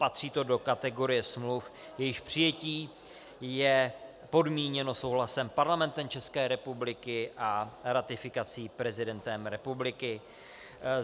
Patří to do kategorie smluv, jejichž přijetí je podmíněno souhlasem Parlamentu České republiky a ratifikací prezidentem republiky.